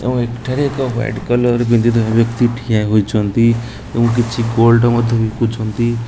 ଓ ଏଠାରେ ଏକ white colour ବ୍ଯକ୍ତି ଠିଆ ହୋଇଛନ୍ତି ଓ କିଛି ଗୋଲ୍ଡ ମଧ୍ଯ ବିକୁଛନ୍ତି।